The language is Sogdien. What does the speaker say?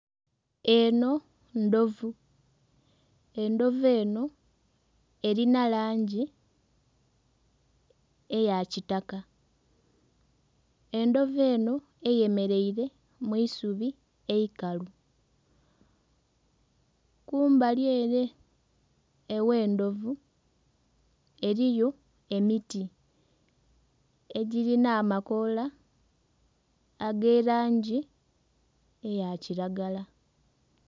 Enho ndhovu, endhovu enho erinha langi eya kitaka endhovu enho eyemereire mwisubi eikalu. Kumbali ere oghe'ndhovu eriyo emiti egirinha amakoola age langi eya kiragala.